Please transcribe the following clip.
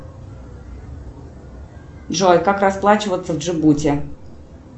джой как расплачиваться в джибути